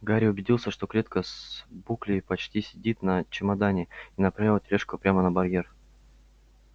гарри убедился что клетка с буклей прочно сидит на чемодане и направил тележку прямо на барьер